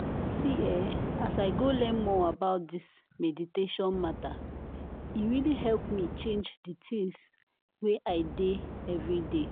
see eeh as i go learn more about this meditation matter e really help me change di tins wey i dey everday.